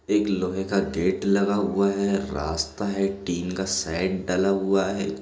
एक लोहे का गेट लगा हुआ है रास्ता है टिन का शैड डला हुआ हैं।